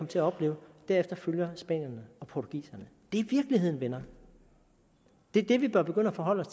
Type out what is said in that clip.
til at opleve og derefter følger spanierne og portugiserne det er virkeligheden venner det er det vi bør begynde at forholde